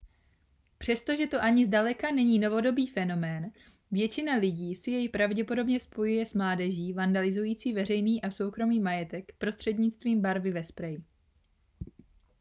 přestože to ani zdaleka není novodobý fenomén většina lidí si jej pravděpodobně spojuje s mládeží vandalizující veřejný a soukromý majetek prostřednictvím barvy ve spreji